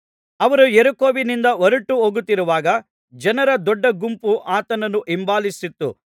ಅವರು ಯೆರಿಕೋವಿನಿಂದ ಹೊರಟುಹೋಗುತ್ತಿರುವಾಗ ಜನರ ದೊಡ್ಡ ಗುಂಪು ಆತನನ್ನು ಹಿಂಬಾಲಿಸಿತು